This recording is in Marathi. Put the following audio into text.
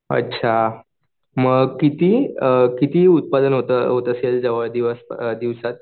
अच्छा मग किती किती उत्पादन उत्पादन होत असेल दिवस दिवसात?